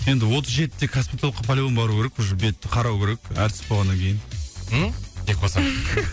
енді отыз жетіде косметологка по любому бару керек уже бетті қарау керек әртіс болғаннан кейін ммм деп қолсаң